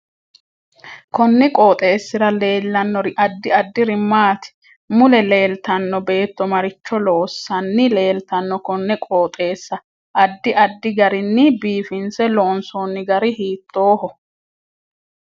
Konni qoxeesira leelanno addi addiri maati mule leeltanno beeto maricho loosani leeltano konne qoxeeesa addi addi garini biifinse loonsooni gari hiitooho